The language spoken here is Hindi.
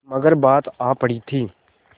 मगर बात आ पड़ी थी